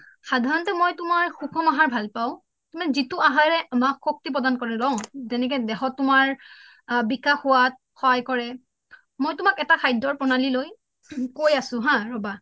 সাধাৰণতে মই তোমাৰ সুকুম আহাৰ ভাল পাওঁ মানে যিটো আহাৰে আমাক শক্তি প্ৰদান কৰে ন যেনেক দেহত তোমাৰ বিশেষ হোৱাত সহায় কৰে মই তোমাক এটা খাদ্যৰ প্ৰণালী লৈ কয় আছোঁ ৰবা